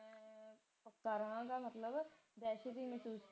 ਕੈਰਵਾਂ ਦਾ ਮਤਲਬ ਹੈ ਦਹਿਸ਼ਤ ਇਹਨੀ ਸੀ